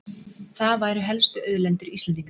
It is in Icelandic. Það væru helstu auðlindir Íslendinga